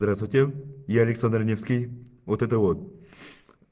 здравствуйте я александр невский вот это вот